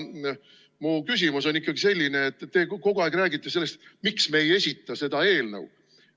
Mu küsimus on selline, et te kogu aeg räägite sellest, miks me ei esita seda eelnõu.